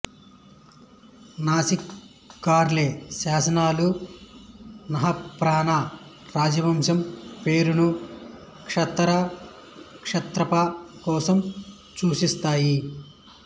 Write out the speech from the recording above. నాసిక్ కార్లే శాసనాలు నహపాణ రాజవంశం పేరును క్షారత క్షాత్రప కోసం సూచిస్తాయి